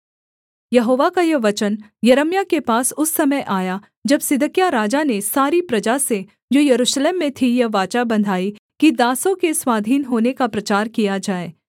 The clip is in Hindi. यहोवा का यह वचन यिर्मयाह के पास उस समय आया जब सिदकिय्याह राजा ने सारी प्रजा से जो यरूशलेम में थी यह वाचा बँधाई कि दासों के स्वाधीन होने का प्रचार किया जाए